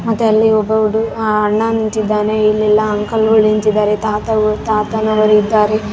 ಮತ್ತೆ ಅಲ್ಲಿ ಒಬ್ಬ ಹುಡುಗ ಆ ಅಣ್ಣ ನಿಂತಿದ್ದಾನೆ ಇಲ್ಲೆಲ್ಲ ಅಂಕಲ್ ಗಳು ನಿಂತಿದ್ದಾರೆ ತಾತ ಗಳು ತಾತನವರು ಇದ್ದಾರೆ.